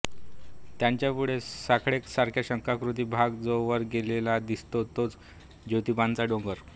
त्याच्यापुढे सोंडेसारखा शंखाकृती भाग जो वर गेलेला दिसतो तोच ज्योतिबाचा डोंगर